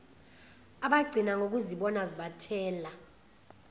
abagcina ngokuzibona zibathela